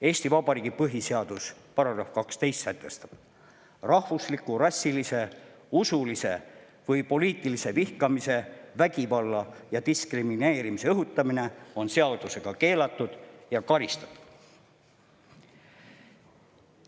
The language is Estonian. Eesti Vabariigi põhiseaduse § 12 sätestab: "Rahvusliku, rassilise, usulise või poliitilise vihkamise, vägivalla ja diskrimineerimise õhutamine on seadusega keelatud ja karistatav.